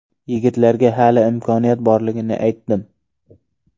Yigitlarga hali imkoniyat borligini aytdim.